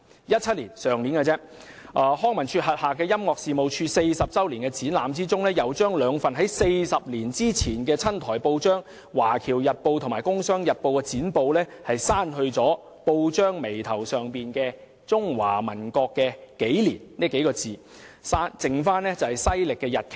在去年的2017年，康文署轄下的音樂事務處40周年展覽把兩份40年前的親台報章——《華僑日報》及《工商日報》——剪報上報眉部分的中華民國國曆刪除，只餘下西曆日期。